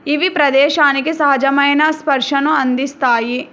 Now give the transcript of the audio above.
ఇవి ప్రదేశానికి సహజమైన స్పర్శను అందిస్తాయి.